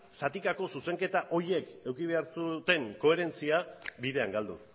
zatikako zuzenketa horiek eduki behar zuten koherentzia bidean galdu